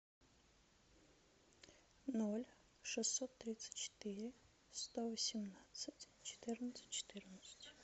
ноль шестьсот тридцать четыре сто восемнадцать четырнадцать четырнадцать